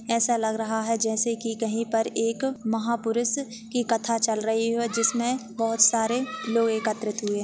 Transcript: ऐसा लग रहा है जैसे की कही पर एक महा-पुरुष की कथा चल रही हो जिसमे बहुत सारे लोग एकत्रित हुए।